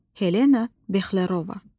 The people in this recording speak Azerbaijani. Helena Bexlerova.